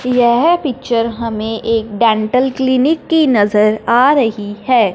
यह पिक्चर हमें एक डेंटल क्लिनिक की नजर आ रही है।